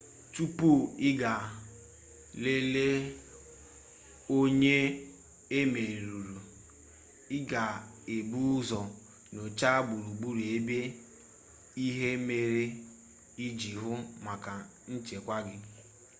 tupu ị gaa lelee onye e merụrụ i ga-ebu ụzọ nyochaa gburugburu ebe ihe mere iji hụ maka nchekwa gị